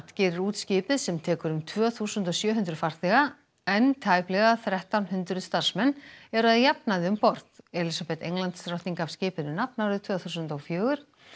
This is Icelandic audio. gerir út skipið sem tekur um tvö þúsund og sjö hundruð farþega en tæplega þrettán hundruð starfsmenn eru að jafnaði um borð Elísabet Englandsdrottning gaf skipinu nafn árið tvö þúsund og fjögur